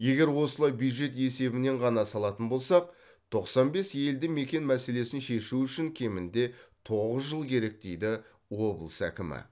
егер осылай бюджет есебінен ғана салатын болсақ тоқсан бес елді мекен мәселесін шешу үшін кемінде тоғыз жыл керек дейді облыс әкімі